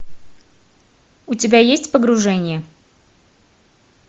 у тебя есть погружение